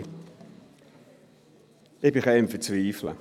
Ich bin ein wenig am Verzweifeln.